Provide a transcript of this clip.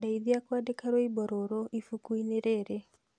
Ndeithia kwandĩka rwĩmbo rũrũ ibuku-inĩ rĩrĩ